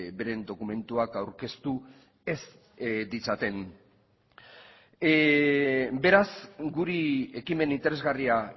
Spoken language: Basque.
beren dokumentuak aurkeztu ez ditzaten beraz guri ekimen interesgarria